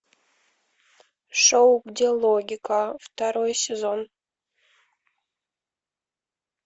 шоу где логика второй сезон